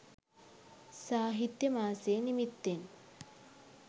සාහිත්‍ය මාසෙ නිමිත්තෙන්